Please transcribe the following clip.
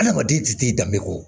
Adamaden tɛ t'i danbe kɔ